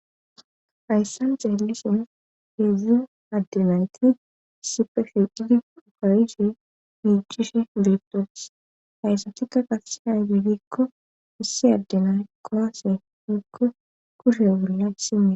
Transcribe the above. hayssan xeelison hedzu addenayti sipefidi ukarishe miicish betoes hayssatikka qaseha yudikko isse addenay koose mukko kushe ogurla sime